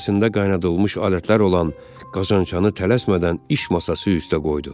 İçərisində qaynadılmış alətlər olan qazanchanı tələsmədən iş masası üstə qoydu.